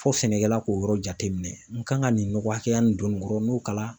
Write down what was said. Fɔ sɛnɛkɛla k'o yɔrɔ jateminɛ n kan ka nin nɔgɔ hakɛya nin don nin kɔrɔ n'o kalan